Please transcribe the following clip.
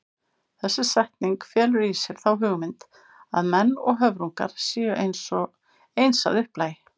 Þessi setning felur í sér þá hugmynd að menn og höfrungar séu eins að upplagi.